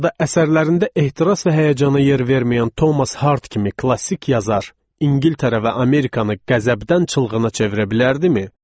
Ya da əsərlərində ehtiras və həyəcana yer verməyən Thomas Hardi kimi klassik yazar İngiltərə və Amerikanı qəzəbdən çılğına çevirə bilərdimi?